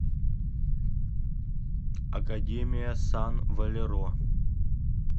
академия сан валеро